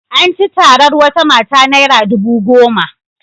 An ci tatar wata mata naira dubu goma.